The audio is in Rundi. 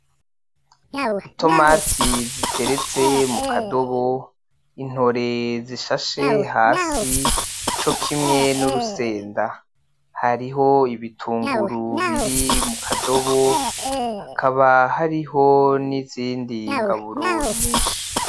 Itomati ziteretse mukadobo, intore zishashe hasi cokimwe nurusenda, hariho ibitunguru biri mukadobo hakaba hariho nizindi ngaburo nyinshi.